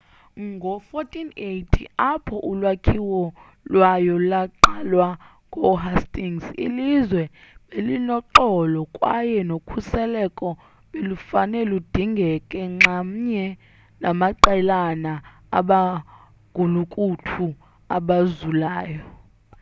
ngoo-1480 apho ulakhiwo kwayo laqalwa ngoo-hastings ilizwe belinoxolo kwaye nokhuselo belufane ludingeke nxamnye namaqelana abagulukuthu abazulayo